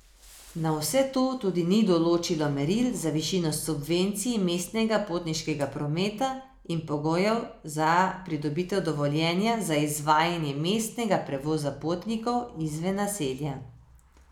Na vse to tudi ni določilo meril za višino subvencij mestnega potniškega prometa in pogojev za pridobitev dovoljenja za izvajanje mestnega prevoza potnikov izven naselja.